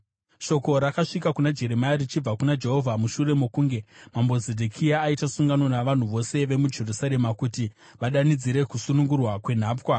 Shoko rakasvika kuna Jeremia richibva kuna Jehovha mushure mokunge Mambo Zedhekia aita sungano navanhu vose vemuJerusarema kuti vadanidzire kusunungurwa kwenhapwa.